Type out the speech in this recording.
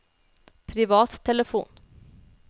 privattelefon